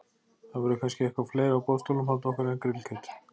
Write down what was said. Það verður kannski eitthvað fleira á boðstólum handa okkur en grillkjöt.